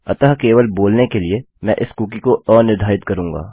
अतः केवल बोलने के लिए मैं इस कुकी को अनिर्धारित करूँगा